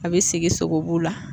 A be sigi sogobu la